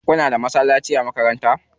Kuna da masallaci a makaranta?